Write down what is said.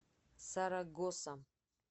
сарагоса